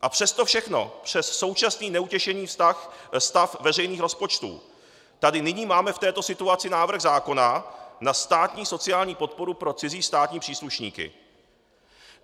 A přes to všechno, přes současný neutěšený stav veřejných rozpočtů tady nyní máme v této situaci návrh zákona na státní sociální podporu pro cizí státní příslušníky.